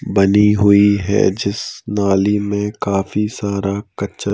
बनी हुई है जिस नाली में काफी सारा कच --